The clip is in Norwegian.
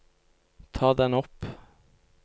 ta den opp